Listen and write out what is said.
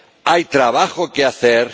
Hay trabajo que hacer.